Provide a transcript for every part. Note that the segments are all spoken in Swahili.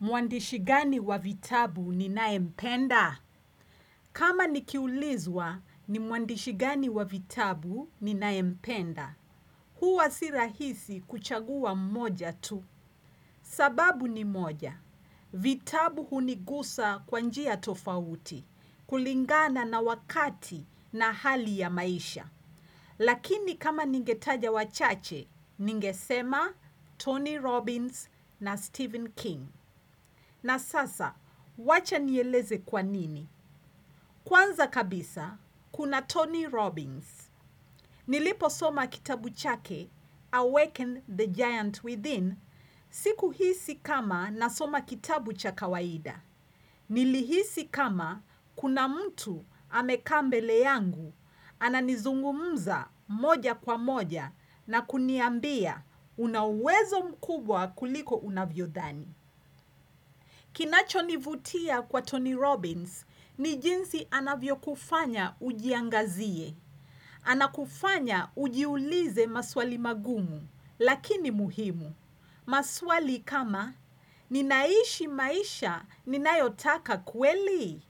Mwandishi gani wa vitabu ninaempenda? Kama nikiulizwa ni mwandishi gani wa vitabu ninaempenda? Huwa sirahisi kuchagua mmoja tu. Sababu ni moja. Vitabu hunigusa kwa njia tofauti. Kulingana na wakati na hali ya maisha. Lakini kama ningetaja wachache, ningesema Tony Robbins na Stephen King. Na sasa, wacha nieleze kwa nini? Kwanza kabisa, kuna Tony Robbins. Niliposoma kitabu chake, Awaken the Giant Within, sikuhisi kama nasoma kitabu cha kawaida. Nilihisi kama kuna mtu amekaa mbele yangu, ananizungumza moja kwa moja na kuniambia una uwezo mkubwa kuliko unavyodhani. Kinacho nivutia kwa Tony Robbins ni jinsi anavyo kufanya ujiangazie, anakufanya ujiulize maswali magumu, lakini muhimu. Maswali kama ninaishi maisha ninayotaka kweli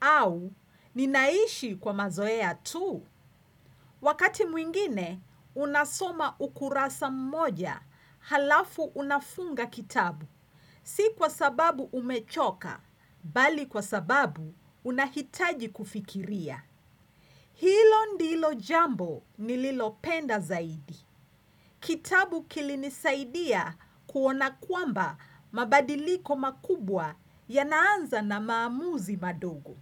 au ninaishi kwa mazoea tu. Wakati mwingine unasoma ukurasa mmoja halafu unafunga kitabu. Si kwa sababu umechoka, bali kwa sababu unahitaji kufikiria. Hilo ndilo jambo nililopenda zaidi. Kitabu kilinisaidia kuona kwamba mabadiliko makubwa yanaanza na maamuzi madogo.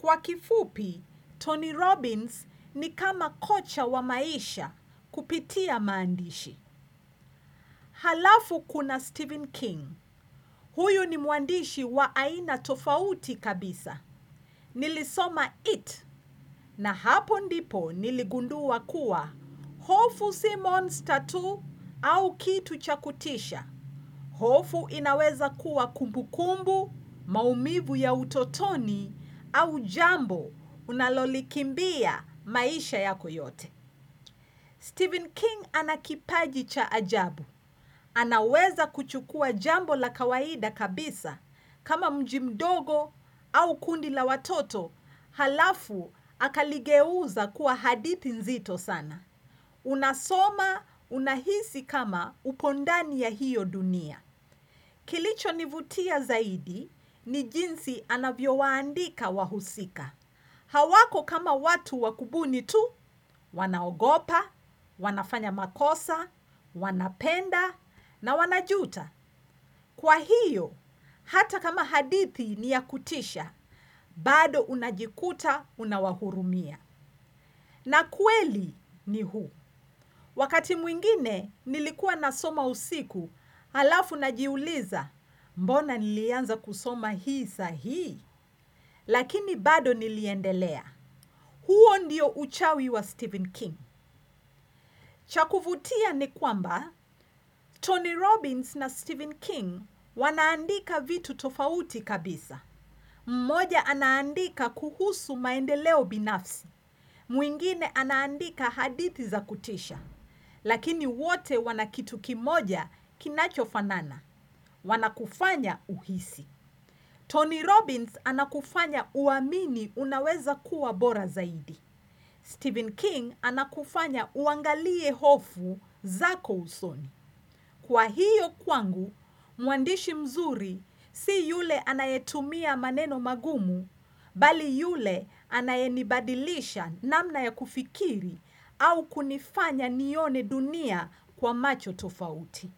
Kwa kifupi, Tony Robbins ni kama kocha wa maisha kupitia maandishi. Halafu kuna Stephen King. Huyu ni muandishi wa aina tofauti kabisa. Nilisoma Eat na hapo ndipo niligundua kuwa hofu Simmons tattoo au kitu cha kutisha. Hofu inaweza kuwa kumbukumbu, maumivu ya utotoni au jambo unalolikimbia maisha yako yote. Stephen King anakipaji cha ajabu. Anaweza kuchukua jambo la kawaida kabisa kama mji mdogo au kundi la watoto halafu akaligeuza kuwa hadithi nzito sana. Unasoma unahisi kama upo ndani ya hiyo dunia. Kilicho nivutia zaidi ni jinsi anavyo waandika wahusika. Hawako kama watu wakubuni tu, wanaogopa, wanafanya makosa, wanapenda, na wanajuta. Kwa hiyo, hata kama hadithi ni ya kutisha, bado unajikuta unawahurumia. Na kweli ni huu. Wakati mwingine nilikuwa nasoma usiku, alafu najiuliza mbona nilianza kusoma hii saa hii, lakini bado niliendelea. Huo ndio uchawi wa Stephen King. Cha kuvutia ni kwamba, Tony Robbins na Stephen King wanaandika vitu tofauti kabisa. Mmoja anaandika kuhusu maendeleo binafsi. Mwingine anaandika hadithi za kutisha. Lakini wote wana kitu kimoja kinachofanana. Wanakufanya uhisi. Tony Robbins anakufanya uamini unaweza kuwa bora zaidi. Stephen King anakufanya uangalie hofu zako usoni. Kwa hiyo kwangu, muandishi mzuri si yule anayetumia maneno magumu, bali yule anayenibadilisha namna ya kufikiri au kunifanya nione dunia kwa macho tofauti.